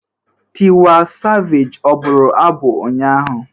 Tiwa Savage ọ buru abụ ụnyaahụ?